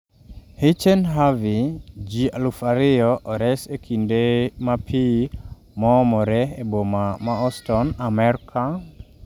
Hirchen Harvey: Ji alaf ariyo ores e kinde ma pi moomore e boma ma Houston, Amerka